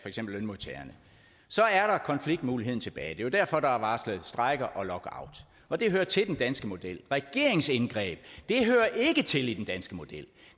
eksempel lønmodtagerne så er der konfliktmuligheden tilbage det er jo derfor der er varslet strejke og lockout og det hører til den danske model regeringsindgreb hører ikke til i den danske model